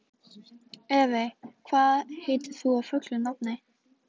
Evey, hvað heitir þú fullu nafni?